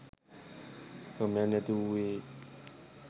ක්‍රමයක් නැතිවූයෙන්